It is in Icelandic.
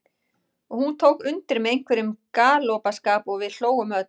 Og hún tók undir með einhverjum galgopaskap og við hlógum öll.